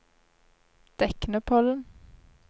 Deknepollen